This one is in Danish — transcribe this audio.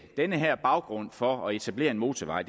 den her baggrund for at etablere en motorvej